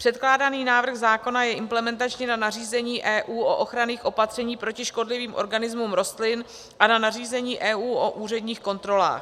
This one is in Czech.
Předkládaný návrh zákona je implementační na nařízení EU o ochranných opatřeních proti škodlivým organismům rostlin a na nařízení EU o úředních kontrolách.